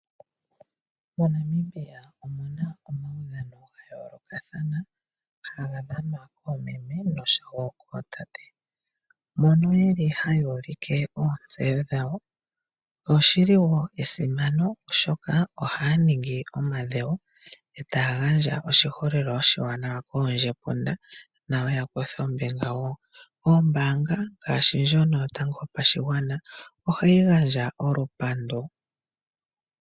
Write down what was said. MoNamibia omuna omaudhano ga yoolokathana, haga dhanwa koomeme noshowo kootate. Mono yeli hayuulike oontseyo dhawo, oshi li wo esimano oshoka ohaya ningi omadhewo, e taa gandja oshiholelwa oshiwananwa koondjepunda nawo ya kuthe ombinga wo. Ombaanga ngaashi ndjono yotango yopashigwana ohayi gandja olupandu.